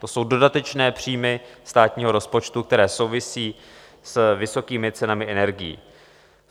To jsou dodatečné příjmy státního rozpočtu, které souvisí s vysokými cenami energií.